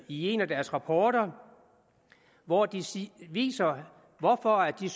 i en af deres rapporter hvor de viser hvorfor de